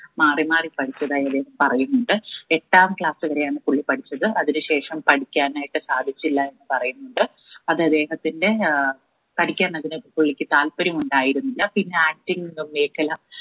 മാറി മാറി പഠിച്ചതായി അദ്ദേഹം പറയുന്നുണ്ട് എട്ടാം class വരെയാണ് പുള്ളി പഠിച്ചത് അതിനു ശേഷം പഠിക്കാനായിട്ട് സാധിച്ചില്ല എന്ന് പറയുന്നുണ്ട് അത് അദ്ദേഹത്തിന്റെ ഏർ പഠിക്കാനതിന് പുള്ളിക് താല്പര്യം ഉണ്ടായിരുന്നില്ല പിന്നെ acting എന്ന മേഖല